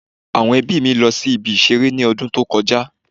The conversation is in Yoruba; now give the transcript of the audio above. Àwọn ẹbí mi lọ sí ibi ìṣeré ní ọdún tó kọ já